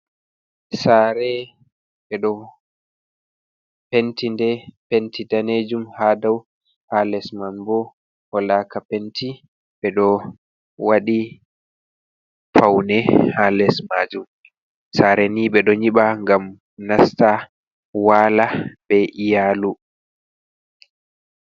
Sare ɓe ɗo pentinde penti danejum, ha dau ha lesman bo wolaka penti be do waɗi faune ha les maajum. sare ni be do nyiɓa ngam nasta waala be iyalu.